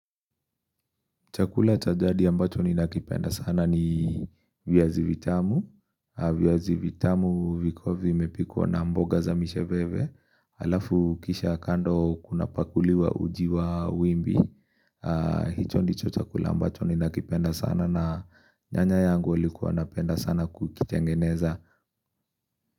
Chakula cha jadi ambacho ninakipenda sana ni viazivitamu. Viazivitamu vikua vimepikwa na mboga za misheveve. Alafu kisha kando kunapakuliwa uji wa wimbi. Hicho ndicho chakula ambacho ninakipenda sana na nyanya yangu alikuwa anapenda sana kukitengeneza.